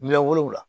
Miliyɔn wolonwula